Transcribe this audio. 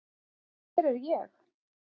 Hver er ég?